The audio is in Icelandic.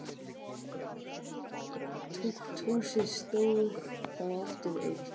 Tukthúsið stóð þá aftur autt.